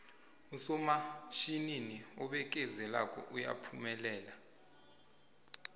usomatjhinini obekezelako uyaphumelela